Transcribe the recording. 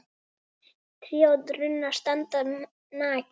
Tré og runnar standa nakin.